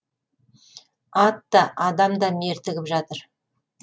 ат та адам да мертігіп жатыр